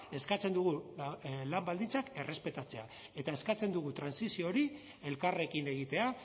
eskatzen dugu lan baldintzak errespetatzea eta eskatzen dugu trantsizio hori elkarrekin egitea